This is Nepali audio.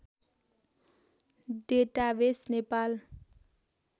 डेटाबेस नेपाल